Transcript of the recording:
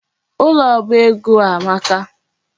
Ụlọ oba ego a amaka.